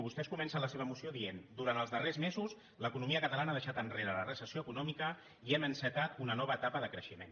vostès comencen la seva moció dient durant els darrers mesos l’economia catalana ha deixat enrere la recessió econòmica i hem encetat una nova etapa de creixement